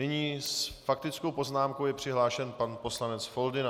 Nyní s faktickou poznámkou je přihlášen pan poslanec Foldyna.